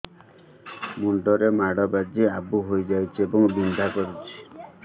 ମୁଣ୍ଡ ରେ ମାଡ ବାଜି ଆବୁ ହଇଯାଇଛି ଏବଂ ବିନ୍ଧା କରୁଛି